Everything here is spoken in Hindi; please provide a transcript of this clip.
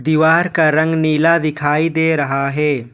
दीवार का रंग नीला दिखाई दे रहा है।